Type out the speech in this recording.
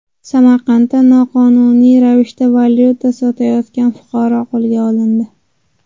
Samarqandda noqonuniy ravishda valyuta sotayotgan fuqaro qo‘lga olindi.